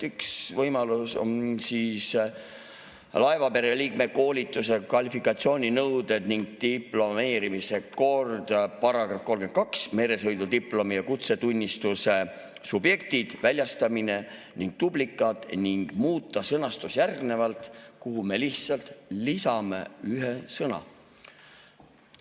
Üks võimalus on muuta "Laevapere liikmete koolitus‑ ja kvalifikatsiooninõuded ning diplomeerimise kord" § 32 "Meresõidudiplomi ja kutsetunnistuse subjektid, väljastamine ning duplikaat" sõnastust järgnevalt, et me lihtsalt lisame sinna ühe sõna.